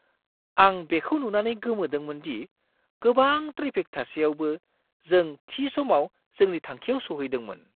आं बेखौ नुनानै गोमोदोंमोन दि गोबां ट्रेफिक थासेयावबो, जों थि समाव जोंनि थांखिआव सौहैदोंमोन!"